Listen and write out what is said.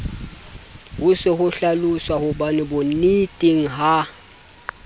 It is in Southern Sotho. ho se hlalosahobane bonneteng ha